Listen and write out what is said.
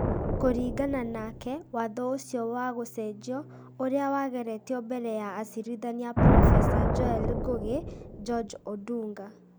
Kũringana nake, watho ũcio wa gũcenjio, ũria wageretio mbere ya acirithania Prof Joel Ngũgi, George Odunga,